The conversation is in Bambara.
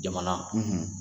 Jamana,